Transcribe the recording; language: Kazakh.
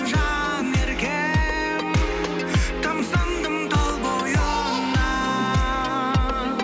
жанеркем тамсандым тал бойыңа